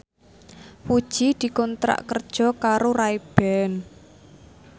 Puji dikontrak kerja karo Ray Ban